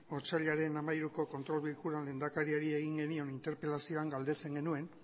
otsailaren hamairuko kontrol bilkuran lehendakariari egin genion interpelazioan galdetzen genuen